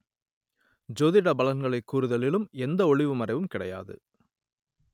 ஜோதிட பலன்களைக் கூறுதிலும் எந்த ஒளிவு மறைவும் கிடையாது